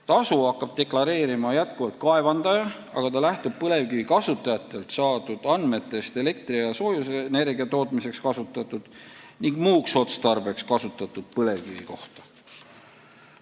Tasu hakkab endiselt deklareerima kaevandaja, aga ta lähtub põlevkivi kasutajatelt saadud andmetest elektri- ja soojusenergia tootmiseks kasutatud ning muuks otstarbeks kasutatud põlevkivi kohta.